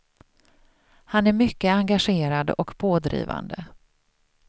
Han är mycket engagerad och pådrivande.